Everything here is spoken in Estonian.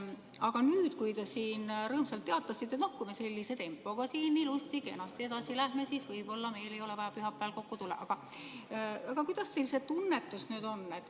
Aga nüüd, kui te siin rõõmsalt teatasite, et noh, kui me sellise tempoga siin ilusti-kenasti edasi läheme, siis võib-olla meil ei ole vaja pühapäeval kokku tulla, kuidas teil see tunnetus nüüd on?